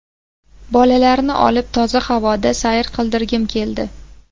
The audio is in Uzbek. Bolalarni olib toza havoda sayr qildirgim keldi.